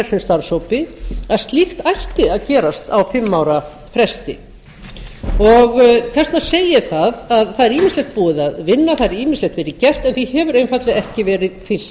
þessum starfshópi að slíkt ætti að gerast á fimm ára fresti þess vegna segi ég að það er ýmislegt búið að vinna það hefur ýmislegt verið gert en því hefur einfaldlega ekki